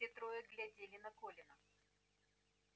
все трое глядели на колина